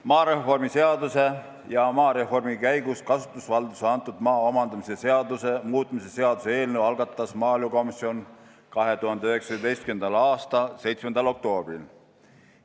Maareformi seaduse ja maareformi käigus kasutusvaldusesse antud maa omandamise seaduse muutmise seaduse eelnõu algatas maaelukomisjon 2019. aasta 7. oktoobril.